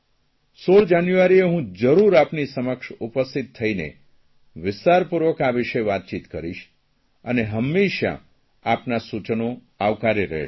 16 જાન્યુઆરીએ હું જરૂર આપની સમક્ષ ઉપસ્થિત થઇને વિસ્તારપૂર્વક આ વિષે વાતચીત કરીશ અને હંમેશાં આપનાં સૂચનો આવકાર્ય રહેશે